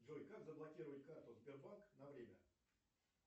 джой как заблокировать карту сбербанк на время